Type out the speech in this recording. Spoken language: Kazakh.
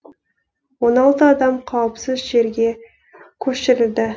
он алты адам қауіпсіз жерге көшірілді